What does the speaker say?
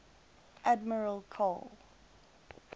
admiral karl